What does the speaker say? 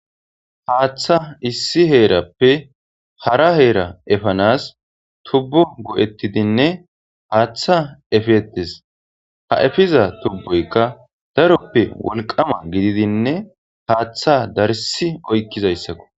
Hatha issi herappe hara hera efanasi tubo go'etidinne hatha efetesi. Ha efiza tuboyika daroppe woliqama gididine hatha darisi oyikizayisako